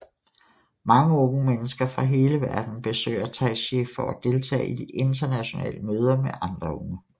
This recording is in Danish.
Mange unge mennesker fra hele verden besøger Taizé for at deltage i de internationale møder med andre unge